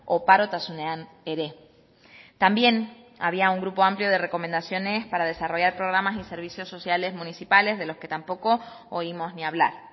oparotasunean ere también había un grupo amplio de recomendaciones para desarrollar programas y servicios sociales municipales de los que tampoco oímos ni hablar